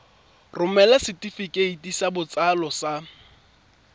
romela setefikeiti sa botsalo sa